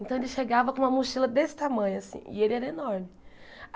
Então, ele chegava com uma mochila desse tamanho, assim, e ele era enorme.